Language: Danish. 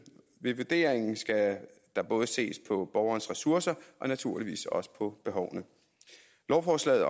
ved vurderingen skal der både ses på borgerens ressourcer og naturligvis også på behovene lovforslaget